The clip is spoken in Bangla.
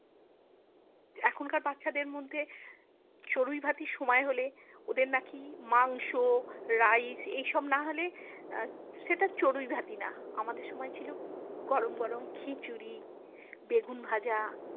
এখনকার বাচ্ছাদের মধ্যে চড়ুইভাতির সময় হলে ওদের নাকি মাংস rice এইসব না হলে সেটা চড়ুইভাতি না আমাদের সময় ছিল গরম গরম খিচুড়ি বেগুনভাজা।